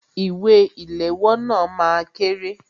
Ìwé ìléwọ́ náà máa kéré